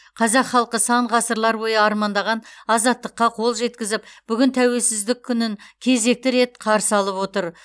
қазақ халқы сан ғасырлар бойы армандаған азаттыққа қол жеткізіп бүгін тәуелсіздік күнін кезекті рет қарсы алып отыр